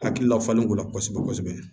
Hakilila falenko la kosɛbɛ kosɛbɛ